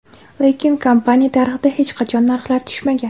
Lekin kompaniya tarixida hech qachon narxlar tushmagan.